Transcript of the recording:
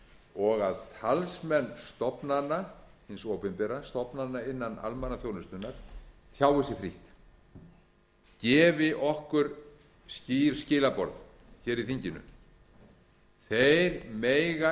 og að talsmenn stofnana hins opinbera stofnana innan almannaþjónustunnar tjái sig frítt gefi okkur skýr skilaboð hér í þinginu þeir mega